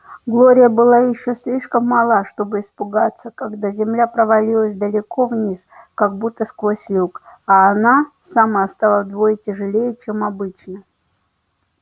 глория была ещё слишком мала чтобы испугаться когда земля провалилась далеко вниз как будто сквозь люк а она сама стала вдвое тяжелее чем обычно